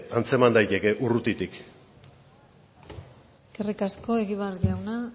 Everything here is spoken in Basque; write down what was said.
antzeman daiteke urrutitik eskerrik asko egibar jauna